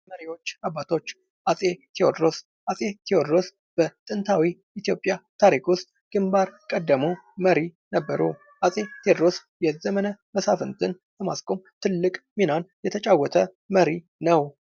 መሪዎች አባቶች አፄ ቴዎድሮስ በጥንታዊ ኢትዮጵያ ታሪኩ ውስጥ ግንባር ቀደሙ መሪ ነበሩ አጼ ቴዎድሮስ የዘመነ መሳፍንትን በማስቆም ትልቅ ሚና የተጫወተ መሪ ነው።